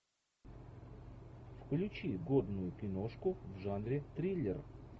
включи годную киношку в жанре триллер